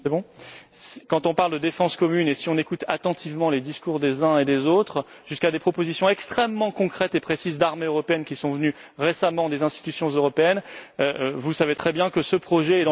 Quand on parle de défense commune et si on écoute attentivement les discours des uns et des autres, jusqu'à des propositions extrêmement concrètes et précises d'armée européenne qui sont venues récemment des institutions européennes, vous savez très bien que ce projet est dans les tuyaux.